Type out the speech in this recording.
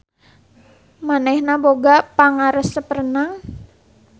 Manehna boga pangaresep renang.